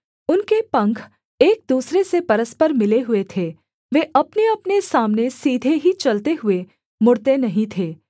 उनके पंख एक दूसरे से परस्पर मिले हुए थे वे अपनेअपने सामने सीधे ही चलते हुए मुड़ते नहीं थे